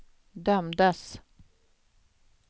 dömdes